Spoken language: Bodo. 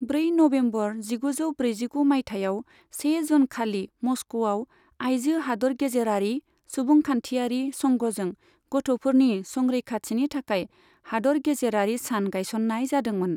ब्रै नबेम्बर जिगुजौ ब्रैजिगु मायथाइयाव, से जुन खालि मस्क'आव आइजो हादोरगेजेरारि सुबुंखान्थियारि संघजों गथ'फोरनि संरैखाथिनि थाखाय हादोरगेजेरारि सान गायसननाय जादोंमोन।